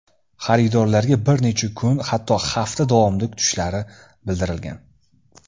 Xaridorlarga bir necha kun, hatto hafta davomida kutishlari bildirilgan.